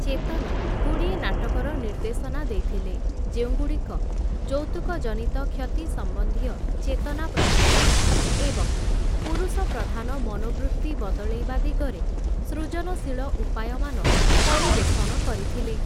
ଚେତନଗୁଡ଼ିଏ ନାଟକର ନିର୍ଦ୍ଦେଶନା ଦେଇଥିଲେ, ଯେଉଁଗୁଡ଼ିକ ଯୌତୁକଜନିତ କ୍ଷତି ସମ୍ବନ୍ଧୀୟ ଚେତନା ପ୍ରସାରଣ ଏବଂ ପୁରୁଷ ପ୍ରଧାନ ମନୋବୃତ୍ତି ବଦଳେଇବା ଦିଗରେ ସୃଜନଶୀଳ ଉପାୟମାନ ପରିବେଷଣ କରିଥିଲେ ।